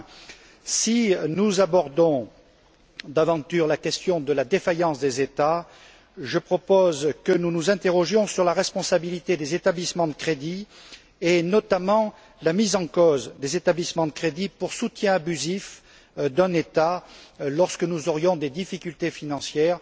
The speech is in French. Enfin, si nous abordons, d'aventure, la question de la défaillance des États, je propose que nous nous interrogions sur la responsabilité des établissements de crédit et, notamment, la mise en cause des établissements de crédit pour soutien abusif d'un État en cas de difficultés financières.